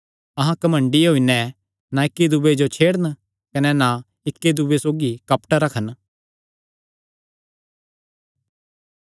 अहां घमंडी होई नैं ना इक्की दूये जो छेड़न कने ना इक्की दूये सौगी कपट रखन